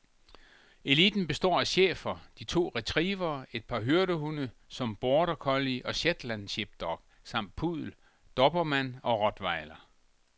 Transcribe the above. Eliten består af schæfer, de to retrievere, et par hyrdehunde som border collie og shetland sheepdog samt puddel, dobermann og rottweiler.